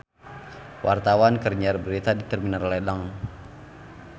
Wartawan keur nyiar berita di Terminal Ledeng